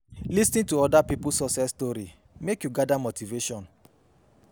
Lis ten to other pipo success story make you gather motivation